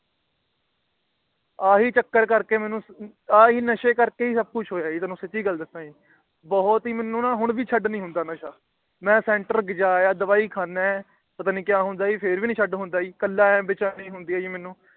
ਆਹੀ ਚੱਕਰ ਕਰਕੇ ਮੇਨੂ ਆਹੀ ਨਸ਼ੇ ਕਰਕੇ ਸਬ ਕੁਛ ਹੋਇਆ ਹੈ ਜੀ ਤੁਹਾਨੂੰ ਸਾਚੀ ਗੱਲ ਦੱਸਿਆ ਬਹੁਤ ਹੀ ਮੇਨੂ ਨਾ ਹੋਣ ਵੀ ਛੱਡ ਨੀ ਹੁੰਦਾ ਨਸ਼ਾ ਮੈਂ ਜਾ ਆਇਆ ਦ ਵਾਈ ਖਾਣਾ ਪਤਾ ਨੀ ਜੀ ਫੇਰ ਭੀ ਛੱਡ ਨੀ ਹੁੰਦਾ ਜੀ ਕੱਲਾ ਹੁੰਦਾ ਤੇ ਬੇਚੈਨੀ ਹੁੰਦੀ ਜੀ ਮੇਨੂ